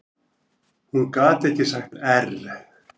Hún gat ekki sagt err.